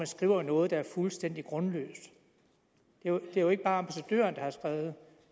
skriver noget der er fuldstændig grundløst det er jo ikke bare ambassadøren der har skrevet